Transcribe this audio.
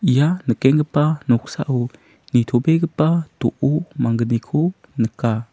ia nikenggipa noksao nitobegipa do·o manggniko nika.